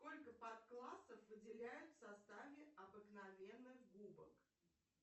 сколько подклассов выделяют в составе обыкновенных губок